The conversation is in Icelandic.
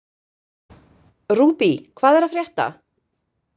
Rúbý, hvað er að frétta?